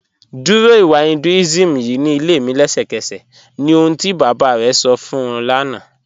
Dúró ìwà Hinduism ýìí ni ilẹ̀ mi lẹ̀ṣẹkẹ̀sẹ̀ ni oṣùn ti baba rẹ sọ̀ fún ọ̀ lána